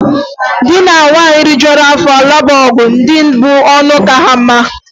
Di na nwunye rijuo afọ lụba ọgụ, ndị bu ọnụ aka ha mma.